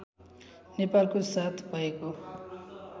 नेपालको साथ भएको